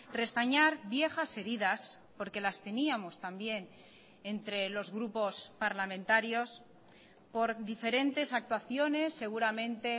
restañar viejas heridas porque las teníamos también entre los grupos parlamentarios por diferentes actuaciones seguramente